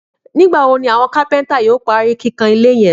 Nígbà wo ni àwọn kápẹ́ntà yóò parí kíkàn ilé yẹn?